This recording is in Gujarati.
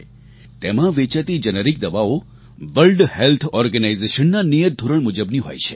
તેમાં વેચાતી જેનેરિક દવાઓ વર્લ્ડ હેલ્થ ઓર્ગેનાઇઝેશન ના નિયત ધોરણ મુજબની હોય છે